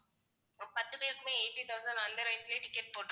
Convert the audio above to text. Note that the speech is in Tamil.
பத்து பேருக்குமே eighty thousand அந்த range லயே ticket போட்டு~